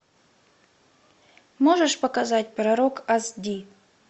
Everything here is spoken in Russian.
можешь показать пророк ас ди